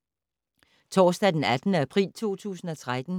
Torsdag d. 18. april 2013